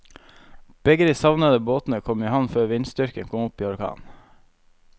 Begge de savnede båtene kom i havn før vindstyrken kom opp i orkan.